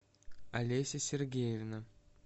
олеся сергеевна